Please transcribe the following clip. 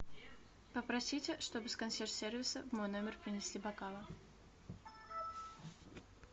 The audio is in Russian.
попросите чтобы с консьерж сервиса в мой номер принесли бокалы